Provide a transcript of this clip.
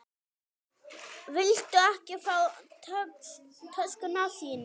Viltu ekki fá töskuna þína?